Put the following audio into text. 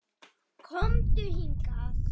KOMDU HINGAÐ!